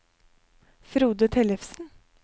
Frode Tellefsen